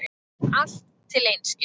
Allt til einskis.